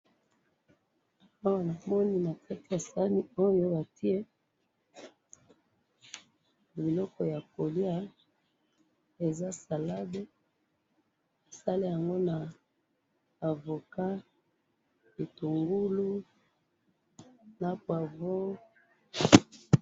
awa namoni nakati ya sahani batiye biloko yakoliya salade yango eza bitungulu avocat na poivron.